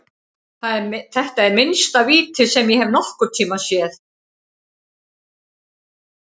Þetta er minnsta víti sem ég hef séð nokkurntímann.